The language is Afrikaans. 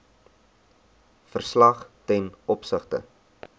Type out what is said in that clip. verslag ten opsigte